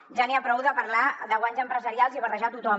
ja n’hi ha prou de parlar de guanys empresarials i barrejar a tothom